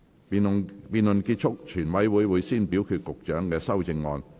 辯論結束後，全委會會先表決局長的修正案。